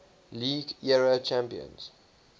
league era champions